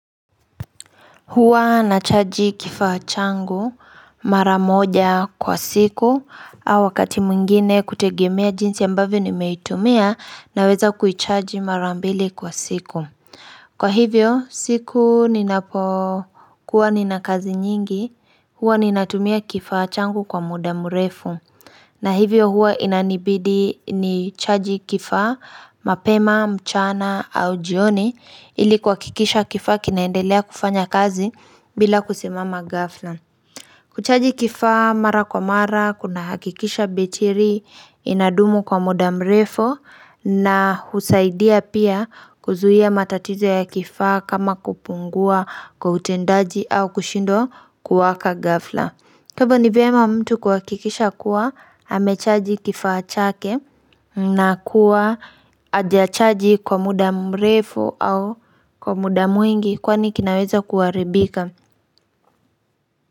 Huwa nachaji kifachangu maramoja kwa siku au wakati muingine kutegemea jinsi ambavyo nimetumia na weza kuichaji marambili kwa siku. Kwa hivyo siku ninapokuwa ninakazi nyingi huwa ninatumia kifachangu kwa mudamurefu. Na hivyo huwa inanibidi nichaji kifaa, mapema, mchana au jioni ili kwa kikisha kifaa kinaendelea kufanya kazi bila kusimama gafla. Kuchaji kifaa mara kwa mara, kuna hakikisha betiri inadumu kwa mudamrefo na husaidia pia kuzuhia matatizo ya kifaa kama kupungua kwa utendaji au kushindo kuwaka gafla. Kwa hivo ni vema mtu kwakikisha kuwa hamechaji kifachake na kuwa ajachaji kwa muda mrefu au kwa muda mwingi kwani kinaweza kuwaribika.